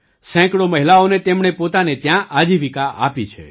સેંકડો મહિલાઓને તેમણે પોતાને ત્યાં આજીવિકા આપી છે